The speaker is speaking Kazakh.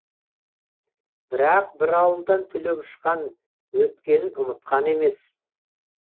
бірақ бір ауылдан түлеп ұшқан өткенін ұмытқан емес